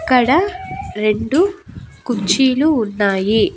ఇక్కడ రెండు కుర్చీలు ఉన్నాయి.